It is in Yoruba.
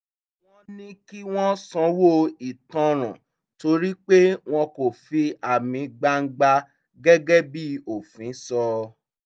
wọ́n ní kí wọ́n sanwó ìtanràn torí pé wọ́n kò fi àmì gbangba gẹ́gẹ́ bí òfin sọ